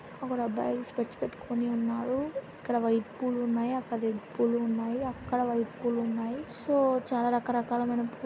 ఒకడు అబ్బాయి స్పెడ్స్ పెట్టుకొని ఉన్నాడు ఇక్కడ వైట్ పూలు ఉన్నాయి అక్కడ రెడ్ పూలు ఉన్నాయి అక్కడ వైట్ పూలు ఉన్నాయి సో చాలా రకరకాలమైన పూ--